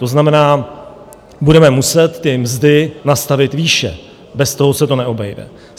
To znamená, budeme muset ty mzdy nastavit výše, bez toho se to neobejde.